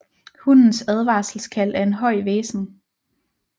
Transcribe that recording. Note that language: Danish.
Hunnens advarselkald er en høj hvæsen